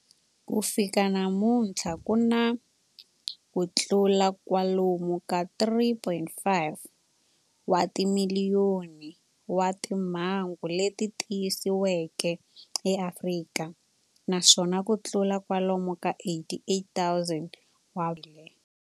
Ku fika namuntlha ku na kutlula kwalomu ka 3.5 wa timiliyoni wa timhangu leti tiyisisiweke eAfrika, naswona kutlula kwalomu ka 88,000 wa vanhu va lovile.